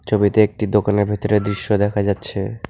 ছবিতে একটি দোকানের ভেতরের দৃশ্য দেখা যাচ্ছে।